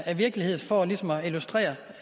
er virkelighed for ligesom at illustrere